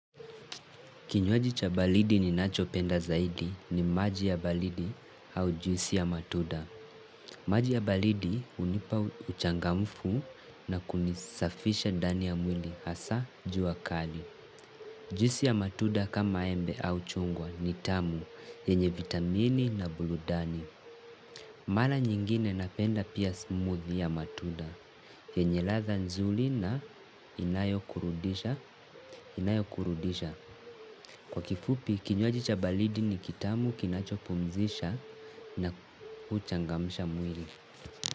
Kinywaji cha baridi ninacho penda zaidi ni maji ya baridi au juisi ya matuda. Maji ya baridi hunipa uchangamfu na kunisafisha ndani ya mwili hasa jua kali. Juisi ya matuda kama embe au chungwa ni tamu yenye vitamini na burudani. Mara nyingine napenda pia smoothie ya matuda. Yenye ladha nzuri na inayo kurudisha, inayo kurudisha. Kwa kifupi, kinywaji cha baridi ni kitamu kinachopumzisha na uchangamsha mwili.